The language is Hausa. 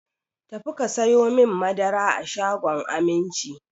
Ta fi ka sayo mani madara a shagon Aminci!